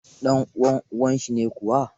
Ɗan uwan Uwa, shi ne Kawu.